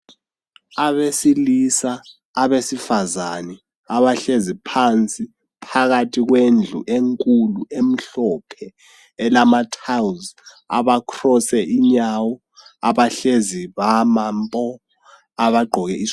Abesilisa abesifazane abahlezi phansi phakathi kwendlu enkulu emhlophe elamathalizi abakhrose inyawo abehlezi bama mpo abagqoke isu.